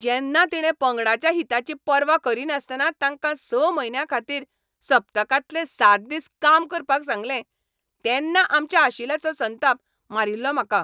जेन्ना तिणें पंगडाच्या हिताची पर्वा करिनासतना तांकां स म्हयन्यांखातीर सप्तकांतले सात दिस काम करपाक सांगलें तेन्ना आमच्या अशिलाचो संताप मारिल्लो म्हाका.